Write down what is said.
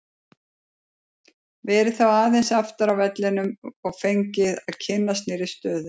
Verið þá aðeins aftar á vellinum og fengið að kynnast nýrri stöðu.